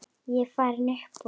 Ég er farinn upp úr.